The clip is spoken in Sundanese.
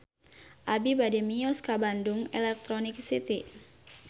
Abi bade mios ka Bandung Electronic City